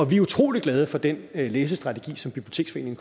vi er utrolig glade for den læsestrategi som biblioteksforeningen